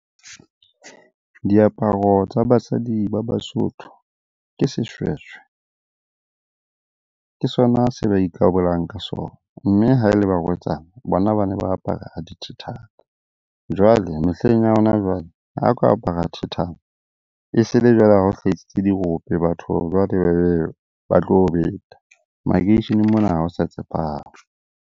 Diaparo tsa basadi ba Basotho ke seshweshwe. Ke sona se ba ikarolang ka sona, mme ha e le barwetsana bona ba ne ba apara a dithethana. Jwale mehleng ya hona jwale ha o ka apara thethana, e se le jwale ha o hlahisitse dirope, batho jwale ba tlo o beta. Makeisheneng mona ha o sa tshepahala.